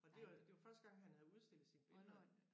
Og det var det var første gang han havde udstillet sine billeder